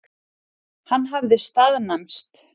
Hann hafði staðnæmst.